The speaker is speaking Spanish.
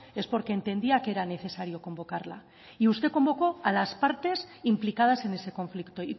es porque entendía que era necesario convocarla y usted convocó a las partes implicadas en ese conflicto